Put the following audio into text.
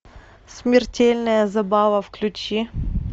смертельная забава включи